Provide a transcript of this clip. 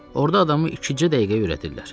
Orda adamı ikicə dəqiqəyə öyrədirlər.